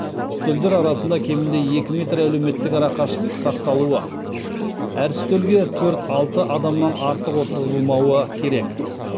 үстелдер арасында кемінде екі метр әлеуметтік арақашықтық сақталуы әр үстелге төрт алты адамнан артық отырғызылмауы керек